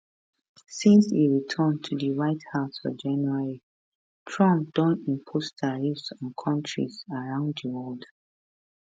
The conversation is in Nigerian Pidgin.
since e return to di white house for january trump don impose tariffs on kontris around di world